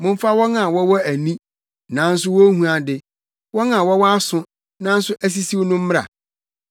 Momfa wɔn a wɔwɔ ani, nanso wonhu ade wɔn a wɔwɔ aso nanso asisiw no mmra.